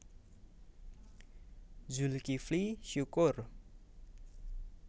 Zulkifly Syukur